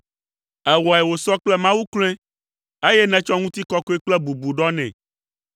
Èwɔe wòsɔ kple Mawu kloe, eye nètsɔ ŋutikɔkɔe kple bubu ɖɔ nɛ.